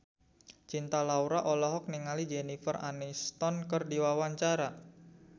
Cinta Laura olohok ningali Jennifer Aniston keur diwawancara